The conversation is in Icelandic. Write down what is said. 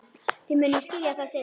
Þið munuð skilja það seinna.